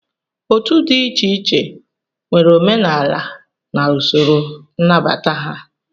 Otu dị iche iche nwere omenala na usoro nnabata ha